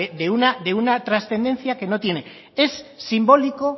de una trascendencia que no tiene es simbólico